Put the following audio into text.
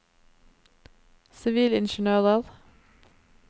sivilingeniører